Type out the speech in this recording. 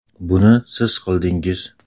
Buni siz qildingiz.